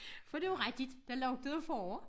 For det jo rigtigt der lugtede af forår